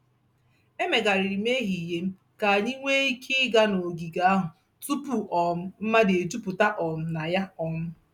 Emegharịrị m ehihie m ka anyị nwee ike ịga n'ogige ahụ tupu um mmadụ ejupụta um na ya. um